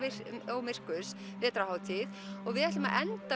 og myrkurs vetrarhátíð og við ætlum að enda